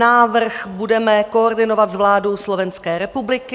Návrh budeme koordinovat s vládou Slovenské republiky.